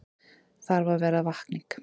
Þarf að verða vakning